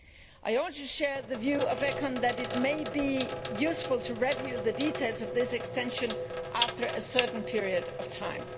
I also share the view of ECON that it may be useful to review the details of this extension after a certain period of time.